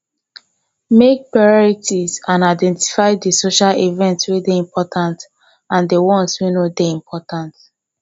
make priorities and identify di social event wey dey important and di ones wey no dey important